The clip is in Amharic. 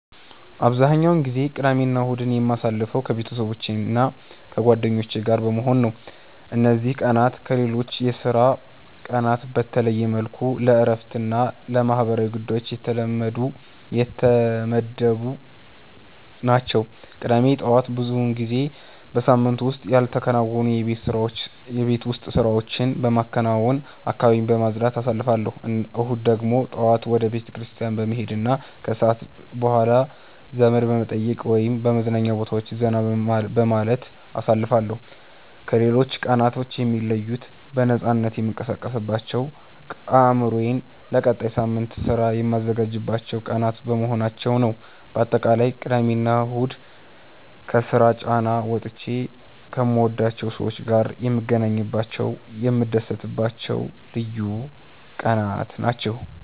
አብዛኛውን ጊዜ ቅዳሜና እሁድን የማሳልፈው ከቤተሰቦቼና ከጓደኞቼ ጋር በመሆን ነው። እነዚህ ቀናት ከሌሎች የሥራ ቀናት በተለየ መልኩ ለእረፍትና ለማህበራዊ ጉዳዮች የተመደቡ ናቸው። ቅዳሜ ጠዋት ብዙውን ጊዜ በሳምንቱ ውስጥ ያልተከናወኑ የቤት ውስጥ ስራዎችን በማከናወንና አካባቢን በማጽዳት አሳልፋለሁ። እሁድ ደግሞ ጠዋት ወደ ቤተክርስቲያን በመሄድና ከሰዓት በኋላ ዘመድ በመጠየቅ ወይም በመዝናኛ ቦታዎች ዘና በማለት አሳልፋለሁ። ከሌሎች ቀናት የሚለዩት በነፃነት የምንቀሳቀስባቸውና አእምሮዬን ለቀጣዩ ሳምንት ሥራ የማዘጋጅባቸው ቀናት በመሆናቸው ነው። ባጠቃላይ ቅዳሜና እሁድ ከስራ ጫና ወጥቼ ከምወዳቸው ሰዎች ጋር የምገናኝባቸውና የምታደስባቸው ልዩ ቀናት ናቸው።